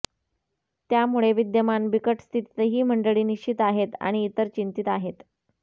त्यामुळे विद्यमान बिकट स्थितीतही ही मंडळी निश्चिंत आहेत आणि इतर चिंतित आहेत